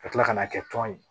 Ka tila ka n'a kɛ tɔn ye